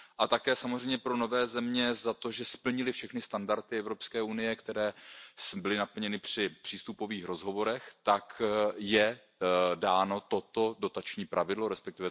Také samozřejmě pro nové země za to, že splnily všechny standardy EU, které byly naplněny při přístupových rozhovorech, tak je dáno toto dotační pravidlo, resp.